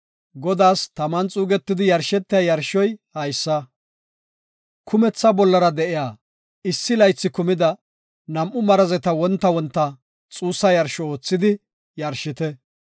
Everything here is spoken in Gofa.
Godaas taman xuugetidi yarshetiya yarshoy haysa; kumetha bollara de7iya issi laythi kumida nam7u marazeta wonta wonta xuussa yarsho oothidi yarshite.